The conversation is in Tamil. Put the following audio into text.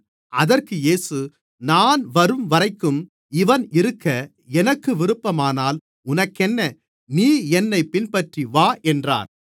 அதற்கு இயேசு நான் வரும்வரைக்கும் இவன் இருக்க எனக்கு விருப்பமானால் உனக்கென்ன நீ என்னைப் பின்பற்றிவா என்றார்